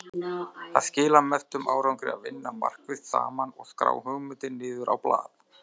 Það skilar mestum árangri að vinna markvisst saman og skrá hugmyndir niður á blað.